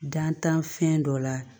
Dantanfɛn dɔ la